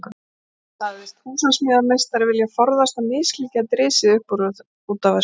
Sagðist húsameistari vilja forðast að misklíð gæti risið upp út af þessu.